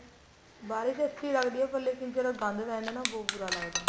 ਬਾਰਿਸ ਅੱਛੀ ਲੱਗਦੀ ਏ ਪਰ ਲੇਕਿਨ ਜਦੋਂ ਗੰਦ ਪੈ ਜਾਂਦਾ ਨਾ ਬਹੁਤ ਬੁਰਾ ਲੱਗਦਾ